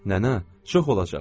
Nənə, çox olacaq.